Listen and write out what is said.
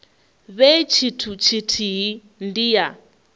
vhe tshithu tshithihi ndi ya